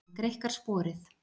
Hann greikkar sporið.